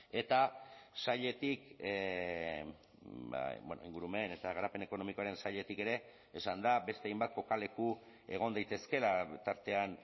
eta sailetik ingurumen eta garapen ekonomikoaren sailetik ere esan da beste hainbat kokaleku egon daitezkeela tartean